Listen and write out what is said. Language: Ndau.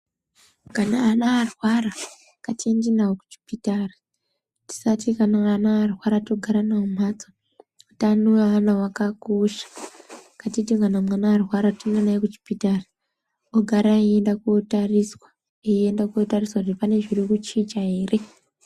Kana ana arwara ngatiindi navo kuchipitari. Tisati kana vana varwara togara navo mumhatso. Utano wevana wakakosha. Ngatiti kana mwana arwara toenda naye kuchipitari, ogara eienda kootariswa. Eienda kootariswa kuti pane zviri kuchicha ere.